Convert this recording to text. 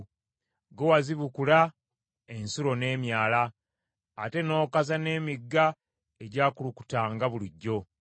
Ggwe wazibukula ensulo n’emyala; ate n’okaza n’emigga egyakulukutanga bulijjo.